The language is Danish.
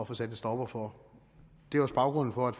få sat en stopper for det er også baggrunden for at